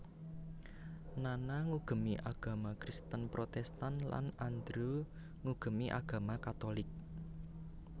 Nana ngugemi agama Kristen Protestan lan Andrew ngugemi agama katolik